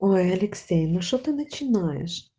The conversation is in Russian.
ой алексей ну что ты начинаешь